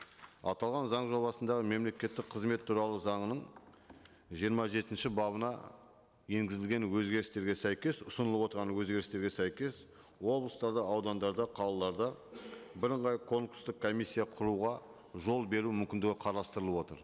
аталған заң жобасындағы мемлекеттік қызмет туралы заңының жиырма жетінші бабына енгізілген өзгерістерге сәйкес ұсынылып отырған өзгерістерге сәйкес облыстарда аудандарда қалаларда бірыңғай конкурстық комиссия құруға жол беру мүмкіндігі қарастырылып отыр